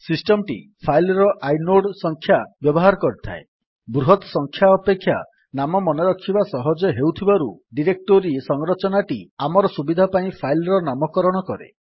system ଟି file ର inode ସଂଖ୍ୟା ବ୍ୟବହାର କରିଥାଏ ବୃହତ ସଂଖ୍ୟା ଅପେକ୍ଷା ନାମ ମନେରଖିବା ସହଜ ହେଉଥିବାରୁ ଡିରେକ୍ଟୋରୀ ସଂରଚନାଟି ଆମର ସୁବିଧା ପାଇଁ ଫାଇଲ୍ ର ନାମକରଣ କରେ